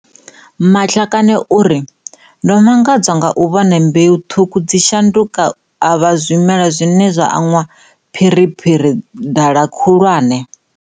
Matlakane o ri, Ndo mangadzwa nga u vhona mbeu ṱhukhu dzi tshi shanduka u vha zwimela zwine zwa anwa phiriphiri dala khulwane.